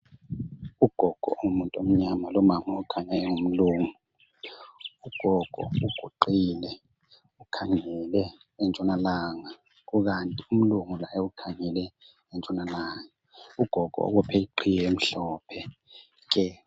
Ugogo ongumuntu omnyama lomama okhanya engumlungu. Ugogo uguqile ,ukhangele entshonalanga kukanti umlungu laye ukhangele entshonalanga. Ugogo ubophe iqhiye emhlophe nke.